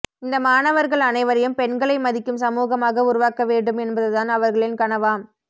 இந்த மாணவர்கள் அனைவரையும் பெண்களை மதிக்கும் சமூகமாக உருவாக்க வேண்டும் என்பது தான் அவர்களின் கனவாம்